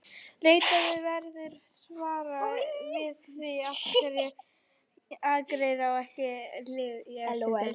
Leitað verður svara við því af hverju Akureyri á ekki lið í efstu deild.